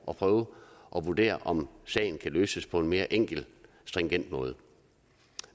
at prøve at vurdere om sagen kan løses på en mere enkel stringent måde